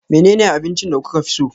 Menene abincin da kuka fi so?